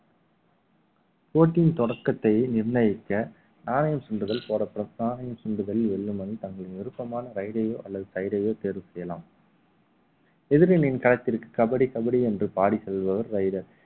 போட்டியின் தொடக்கத்தை நிர்ணயிக்க நாணணையம் சுண்டுதல் போடப்படும் நாணயம் சுண்டுதல் வெல்லும் அணி தங்களின் விருப்பமான raid ஐயோ அல்லது side ஐயோ தேர்வு செய்யலாம் எதிரியின் களத்திற்கு கபடி கபடி என்று பாடி செல்பவர் raider